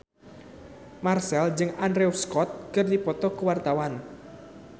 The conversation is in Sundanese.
Marchell jeung Andrew Scott keur dipoto ku wartawan